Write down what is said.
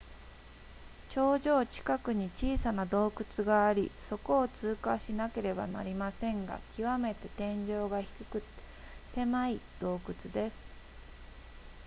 頂上近くに小さな洞窟がありそこを通過しなければなりませんが極めて天井が低くて狭い洞窟です